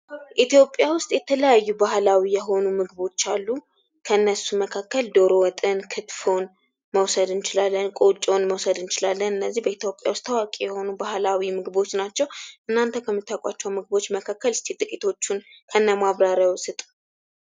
ኢትዮጵያ ውስጥ የተለያዩ ባህላዊ የሆኑ ምግቦች አሉ ። ከነሱ መካከል ዶሮ ወጥን ክትፎን መውሰድ እንችላለን ቆጮን መውሰድ እንችላለን እነዚህ በኢትዮጵያ ውስጥ ታዋቂ የሆኑ ባህላዊ ምግቦች ናቸው ።እናንተ ከምታውቋቸው ምግቦች መካከል እስኪ ጥቂቶችን ከእነ ማብራርየው ስጡ ።